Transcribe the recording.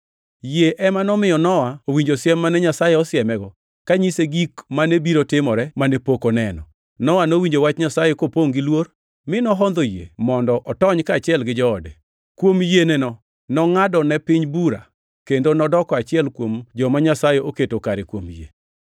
Yie ema nomiyo Nowa owinjo siem mane Nyasaye osiemego kanyise gik mane biro timore mane pok oneno. Nowa nowinjo wach Nyasaye, kopongʼ gi luor, mi nohondho yie mondo otony kaachiel gi joode. Kuom yieneno, nongʼado ne piny bura, kendo nodoko achiel kuom joma Nyasaye oketo kare kuom yie.